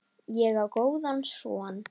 Ég á góðan son.